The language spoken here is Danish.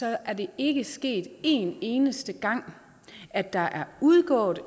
er det ikke sket en eneste gang at der er udgået